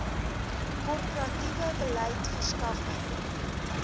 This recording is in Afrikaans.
korporatiewe beleid verskaffing